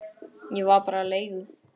Ég var bara leigu